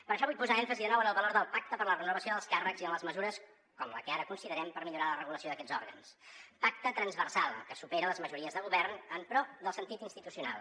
per això vull posar èmfasi de nou en el valor del pacte per a la renovació dels càrrecs i en les mesures com la que ara considerem per millorar la regulació d’aquests òrgans pacte transversal que supera les majories de govern en pro del sentit institucional